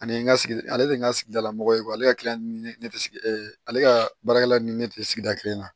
Ani n ka sigi ale de ye n ka sigidalamɔgɔ ye ale ka ne tɛ sigi ale ka baarakɛla ni ne tɛ sigida kelen na